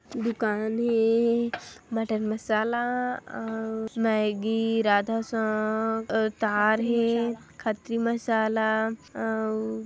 -- दुकान हे मटन मसाला अउ मैगी राधा सौंफ तार हे खत्री मसाला अउ --